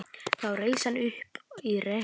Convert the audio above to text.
Þá reis hann upp í rekkju sinni.